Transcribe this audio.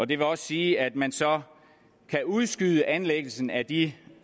det vil også sige at man så kan udskyde anlæggelsen af de